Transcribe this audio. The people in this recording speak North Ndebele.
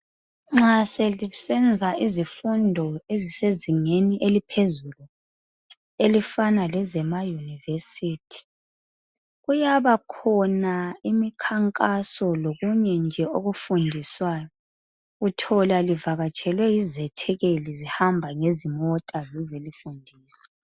Nxa selisenza izifundo ezisezingeni eliphezulu ezifana lezemayunivesithi kuyabakhona imikhankaso lokunye nje okufundiswayo. Uthola livakatshelwe yizethekeli zihamba ngezimota zizelifundisa.